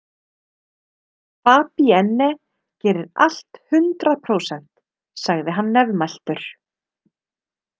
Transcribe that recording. Fabienne gerir allt hundrað prósent, sagði hann nefmæltur.